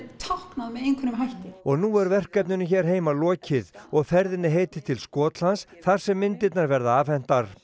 táknað með einhverjum hætti og nú er verkinu hér heima lokið og ferðinni heitið til Skotlands þar sem myndirnar verða afhentar